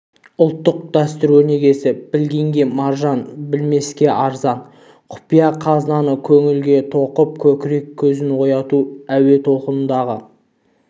ұлттық дәстүр өнегесі білгенге маржан-білмеске арзан құпия қазынаны көңілге тоқып көкірек көзін ояту әуе толқынындағы